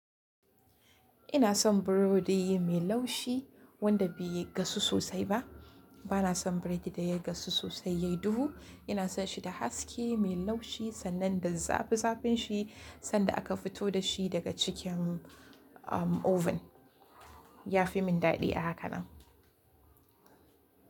Ina son burodi mai laushi wanda bai gasu sosai ba. Bana son biredi da ya gasu sosai yayi duhu. Ina son shi da haske mai laushi sannan da zafi-zafin shi sanda aka fito da shi daga cikin oven. Ya fi min daɗi a haka nan.